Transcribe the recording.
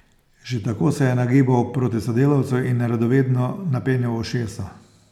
Že tako se je nagibal proti sodelavcu in radovedno napenjal ušesa.